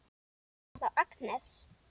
Það er þá Agnes!